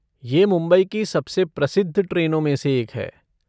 ये मुंबई की सबसे प्रसिद्ध ट्रेनों में से एक है।